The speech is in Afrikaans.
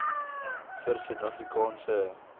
vir suid afrikaanse